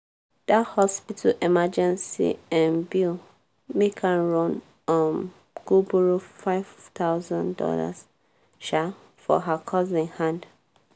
dat hospital emergency um bill make her run um go borrow five thousand dollars um for her cousin hand.